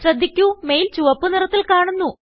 ശ്രദ്ധിക്കുമെയിൽ ചുവപ്പ് നിറത്തിൽ കാണുന്നു